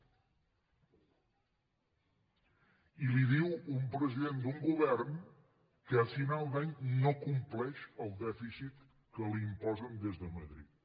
i li ho diu un president d’un govern que a final d’any no compleix el dèficit que li imposen des de madrid